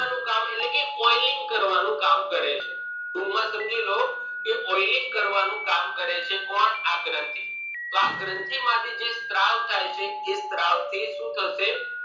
કરવાનું કામ એટલે કે clean કરવાનું કામ કરે છે ટૂંક માં સમજી લો કે oiling કરવાનું કામ કરે છે કોણ આ ગ્રંથી તોહ આ ગ્રંથી માંથી જે સ્ત્રાવ થાય છે એ સ્ત્રાવ થી શું થશે